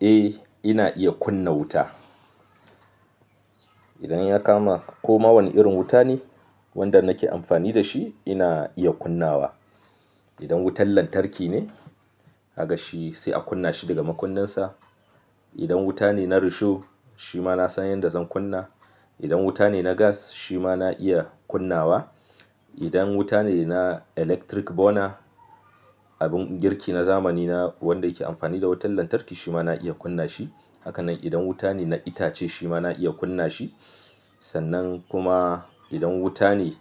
Eh, ina iya kunna wuta. Idan ya kama koma wani irin wuta ne wanda nake amfani da shi, ina iya kunnawa. Idan wutan lantarki ne, kaga shi sai a kunna shi daga makunnansa. Idan wuta ne na risho, shi ma na san yadda zan kunna. Idan wuta ne na gas, shi ma na iya kunna wa. Idan wuta ne na electric burner, abin girki na zamani wanda yake amfani da wutar lantarki, shi ma na iya kunna shi. Haka nan idan wuta ne na itace, shi ma na iya kunna shi. Sannan kuma idan wuta ne